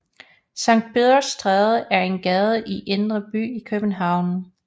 Sankt Peders Stræde er en gade i Indre By i København